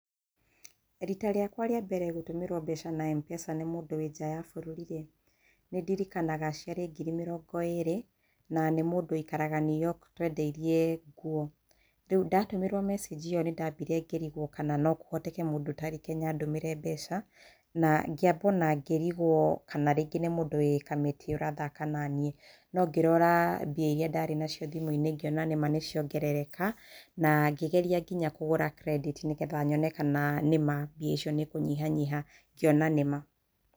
Riita rĩakwa rĩa mbere gũtũmĩrwo mbeca na M-Pesa nĩ mũndũ wĩ nja ya bũrũri rĩ, nĩ ndirikanaga ciarĩ ngiri mĩrongo ĩrĩ na nĩ mũndũ ũikaraga New York, twendeirie nguo. Rĩu ndatũmĩrwo message ĩyo nĩ ndambire ngĩrigwo kana no kũhoteke mũndũ ũtarĩ Kenya andũmĩre mbeca, na ngĩamba o na ngĩrigwo kana rĩngĩ nĩ mũndũ wĩ Kamiti ũrathaka na niĩ. No ngĩrora mbia iria ndarĩ nacio thimũ-inĩ, ngĩona nĩ ma nĩ ciongerereka na ngĩgeria o na kugũra credit nĩgetha nyone kana nĩ ma mbia icio nĩ ikũnyihanyiha, ngĩona nĩ ma.